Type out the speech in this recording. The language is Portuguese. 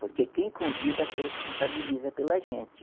Porque quem convida se responsabiliza pela gente.